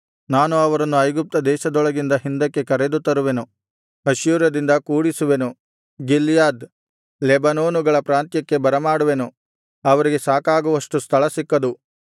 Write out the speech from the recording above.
ನಾನು ಅವರನ್ನು ಐಗುಪ್ತ ದೇಶದೊಳಗಿಂದ ಹಿಂದಕ್ಕೆ ಕರೆದುತರುವೆನು ಅಶ್ಶೂರದಿಂದ ಕೂಡಿಸುವೆನು ಗಿಲ್ಯಾದ್ ಲೆಬನೋನುಗಳ ಪ್ರಾಂತ್ಯಕ್ಕೆ ಬರಮಾಡುವೆನು ಅವರಿಗೆ ಸಾಕಾಗುವಷ್ಟು ಸ್ಥಳ ಸಿಕ್ಕದು